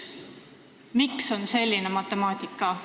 Miks selline matemaatika?